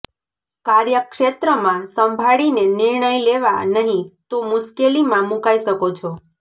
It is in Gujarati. કાર્યક્ષેત્રમાં સંભાળીને નિર્ણય લેવા નહીં તો મુશ્કેલીમાં મુકાઈ શકો છો